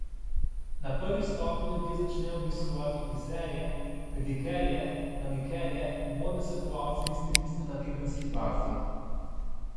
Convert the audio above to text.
Na prvi stopnji ljudje začnejo obiskovati frizerje, pedikerje, manikerje, modne svetovalce in stiliste na tedenski bazi.